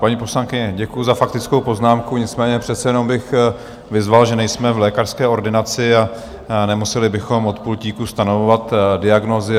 Paní poslankyně, děkuji za faktickou poznámku, nicméně přece jenom bych vyzval, že nejsme v lékařské ordinaci a nemuseli bychom od pultíku stanovovat diagnózy.